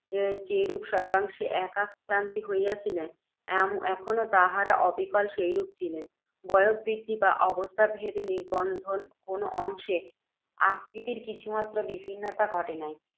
যেরূপ সর্ব্বাংশে একারুতি হইয়াছিলেন, এখনও তাঁহারা অবিকল সেইরূপ ছিলেন, বয়োবৃদ্ধি বা অবস্থাভেদ নিবন্ধন কোনও অংশে আকৃতির কিছুমাত্র বিভিন্নতা ঘটে নাই।